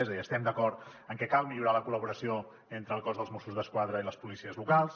és a dir estem d’acord en que cal millorar la col·laboració entre el cos de mossos d’esquadra i les policies locals